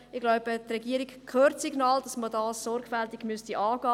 Ich glaube, die Regierung hört das Signal, dass man es sorgfältig angehen muss.